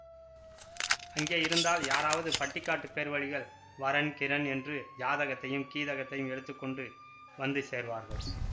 அங்கே இருந்தால் யாராவது பட்டிக்காட்டுப் பேர்வழிகள் வரன் கிரன் என்று ஜாதகத்தையும் கீதகத்தையும் எடுத்து கொண்டு வந்து சேர்வார்கள்